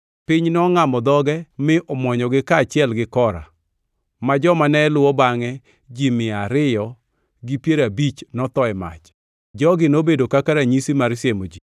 Piny nongʼamo dhoge mi omwonyogi kaachiel gi Kora, ma joma ne luwo bangʼe ji mia ariyo gi piero abich notho e mach. Jogi nobedo kaka ranyisi mar siemo ji.